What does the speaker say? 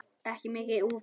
Hér er mikið í húfi.